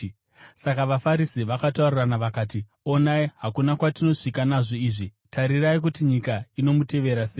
Saka vaFarisi vakataurirana vakati, “Onai, hakuna kwatinosvika nazvo izvi. Tarirai kuti nyika inomutevera sei!”